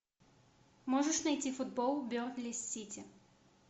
можешь найти футбол бернли с сити